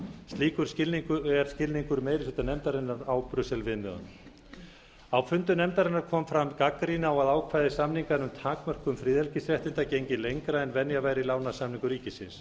slíkur er skilningur meiri hluta nefndarinnar á brussel viðmiðunum á fundum nefndarinnar kom fram gagnrýni á að ákvæði samninganna um takmörkun friðhelgisréttinda gengi lengra en venja væri í lánasamningum ríkisins